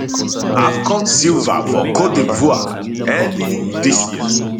afcon silver for cote divoire early dis year